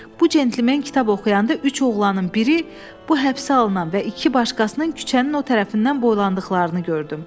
Bu centlmen kitab oxuyanda üç oğlanın biri, bu həbsə alınan və iki başqasının küçənin o tərəfindən boylandıqlarını gördüm.